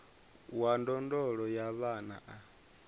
wa ndondolo ya vhana a